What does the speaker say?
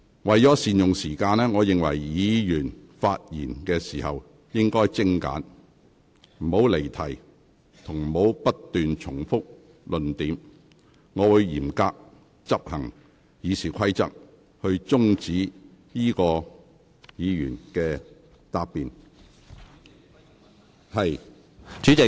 為了善用議會時間，議員發言時應該精簡，不應離題，亦不應不斷重複論點，否則我會嚴格執行《議事規則》，停止有關議員發言。